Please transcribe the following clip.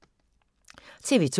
TV 2